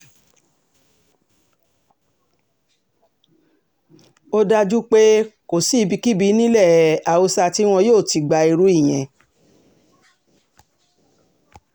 ó dájú pé um kò sí ibikíbi nílẹ̀ um haúsá tí wọn yóò ti gba irú ìyẹn